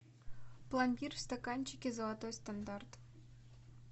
пломбир в стаканчике золотой стандарт